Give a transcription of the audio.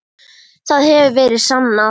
Það hefur verið sannað.